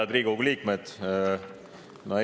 Head Riigikogu liikmed!